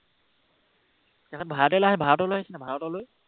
তেখেত ভাৰতলৈ আহিছে নাই, ভাৰতলৈ, ভাৰতলৈ?